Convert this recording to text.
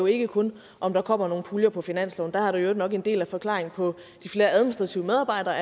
ikke kun om der kommer nogle puljer på finansloven der har vi i øvrigt nok en del af forklaringen på de flere administrative medarbejdere